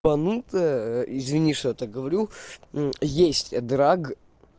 извини что я так говорю есть драк